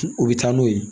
U bɛ taa n'o ye